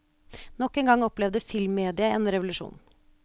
Nok en gang opplevde filmmediet en revolusjon.